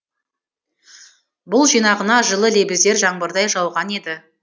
бұл жинағына жылы лебіздер жаңбырдай жауған еді